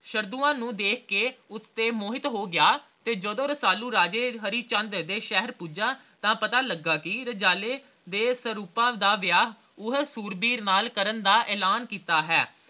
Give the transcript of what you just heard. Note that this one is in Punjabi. ਸ਼ਰਦੁਆ ਨੂੰ ਦੇਖ ਕੇ ਉਸਤੇ ਮੋਹਿਤ ਹੋ ਗਿਆ ਤੇ ਜਦੋ ਰਸਾਲੂ ਰਾਜੇ ਹਰੀਚੰਦ ਦੇ ਸ਼ਹਿਰ ਭੁੱਜਾ ਤਾ ਪਤਾ ਲੱਗਾ ਕਿ ਰਜਾਲੇ ਦੇ ਸਰੂਪ ਦਾ ਵਿਆਹ ਉਹ ਸੂਰਬੀਰ ਨਾਲ ਕਰਨ ਦਾ ਐਲਾਨ ਕੀਤਾ ਹੈ